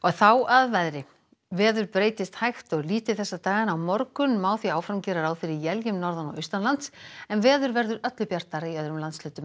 þá að veðri veður breytist hægt og lítið þessa dagana á morgun má því áfram gera ráð fyrir éljum norðan og austanlands en veður verður öllu bjartara í öðrum landshlutum